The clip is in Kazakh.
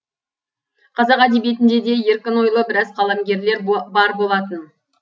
қазақ әдебиетінде де еркін ойлы біраз қаламгерлер бар болатын